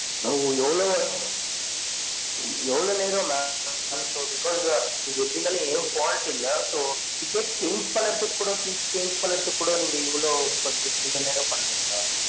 ம்ம் எவ்லொ எவ்லொ னெரம் mam because quality இல்ல so ticket change பன்றதுகு குட seats பன்றதுகு குட நீங்க இவ்லொ பன்றிங்க நீங்க இவ்லொ நெரம் பன்றிங்க